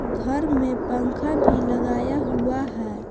घर में पंखा भी लगाया हुआ है।